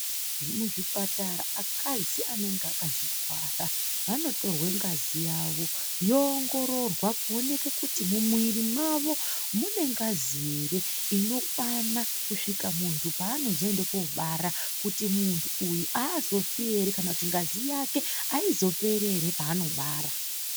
Mumizvipatara akadzi anenge akazvitwara vanotorwa ngazi yawo yoongirorwa kuonekwa kuti mumuviri mawo mune nhasi here inokwana Kuti muntu panozoenda kobara Muntu uyu azofinhere kana kuti ngazi yake aizoperi panobara.